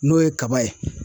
N'o ye kaba ye